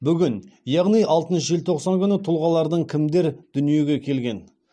бүгін яғни алтыншы желтоқсан күні тұлғалардан кімдер дүниеге келген